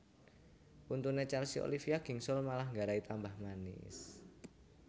Untune Chelsea Olivia gingsul malah nggarai tambah manis